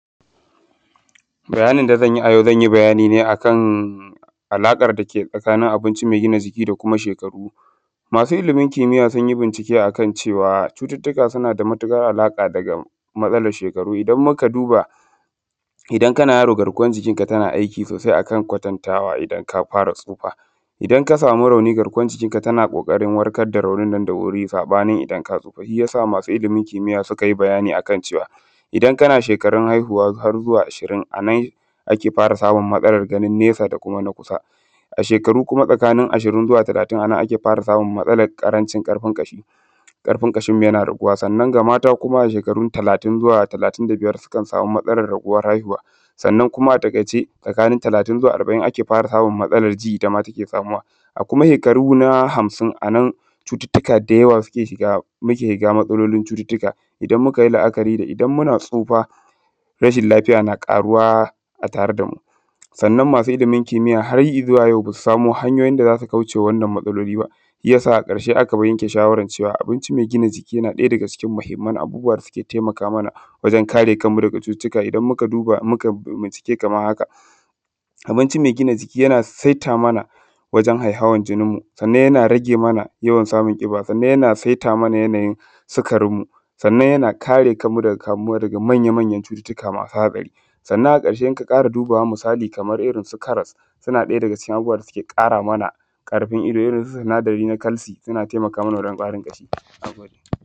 Bayanın da zanyi a yau zanyi bayani ne akan alaƙan dake tsakanin abinci mai gina jiki da kuma shekaru. Masu ilimin kimiyya sunyi bincike akan cewa cututuka suna da matuƙar alaƙa daga matsalan shekaru, idan muka duba idan kana yaro garkuwan jikinka tana aiki sosai akan kwatatanwa idan ka fara tsufa, idan ka samu rauni garkuwan jikinka tana ƙoƙarin warkar da raunin da wuri sabanin idan ka tsufa. Shiyasa masu ilimin kimiyya suka yi bani akan ce idan kana shekarun haihuwa har zuwa ashirin anan ake fara samun matsalar gani nesa dana kusa, a shekaru kuma tsakanin ashirin zuwa talatin anan ake fara samun matsalar ƙarfin ƙashi, ƙarfin ƙashinmu yana raguwa, sannan ga mata ashekaru talatin zuwa talatin da biyar sukan samu matsalar raguwar haihuwa. Sannan kuma a taikaice tsakanin zuwa arba’in ake fara samun matsalar ji dama take samuwa, a kuma hekaru na hamsin anan cututuka da yawa suke shiga, muke shiga matsalolin cututuka idan mukayi la’akari da idan muna tsufa rashin lafiya na karuwa a tare damu. Sannan masu ilimin kimiyya har izuwa yau basu samo hanyoyin da za su kaucema wannan matsaloli ba, a ƙarshe aka yanke shawaran abincin mai gina jiki yana ɗaya daga cikin muhimman abubuwa da suke taimaka mana wajen kare kanmu daga cututuka, idan muka duba mu kai bincike kamar haka: Abinci mai gina jiki yana saita mana wajen haihawan jininmu sannan yana rage mana yawan samun ƙiba, sannan yana saita mana yanayin sukarinmu, sannan yana kare kanmu daga kamuwa daga manya-manyan cututuka masu hatsari, sannan a ƙarshe in ka ƙara dubawa misali kaman irin su karas, suna daya daga cikin abubuwa da suke kara mana karfin ido, irin su sinadari na kalsi yana taimaka mana wajen ƙwarin ƙashi. Na gode.